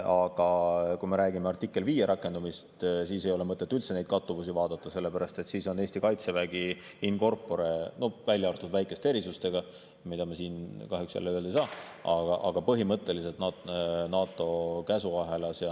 Aga kui me räägime artikli 5 rakendamisest, siis ei ole mõtet üldse neid kattuvusi vaadata, sellepärast et siis on Eesti kaitsevägi in corpore, välja arvatud väikesed erisused, mida me siin kahjuks jälle öelda ei saa, põhimõtteliselt NATO käsuahelas.